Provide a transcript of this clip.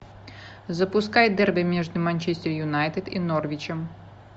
запускай дерби между манчестер юнайтед и норвичем